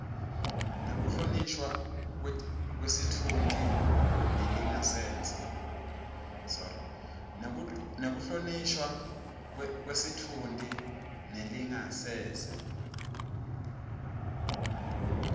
nekuhlonishwa kwesitfunti nelingasese